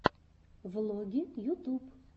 влоги ютуб